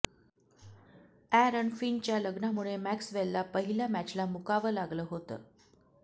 अॅरन फिंचच्या लग्नामुळे मॅक्सवेलला पहिल्या मॅचला मुकावं लागलं होतं